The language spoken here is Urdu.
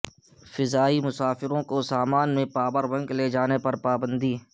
فضائی مسافرو ں کو سامان میں پاور بینک لےجانے پر پابندی